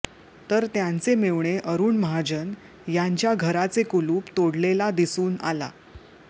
तर त्यांचे मेव्हणे अरूण महाजन यांच्या घराचे कुलूप तोडलेला दिसून आला